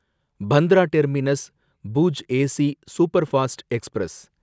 Bandra terminus Bhuj AC superfast express